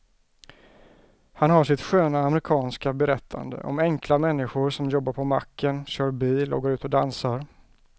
Han har sitt sköna amerikanska berättande om enkla människor som jobbar på macken, kör bil och går ut och dansar.